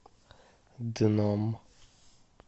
дном